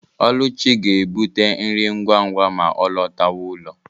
Oluchi ga-ebute nri ngwa ngwa ma ọ lọtawa ụlọ.